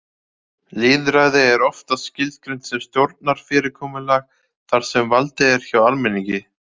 Lýðræði er oftast skilgreint sem stjórnarfyrirkomulag þar sem valdið er hjá almenningi.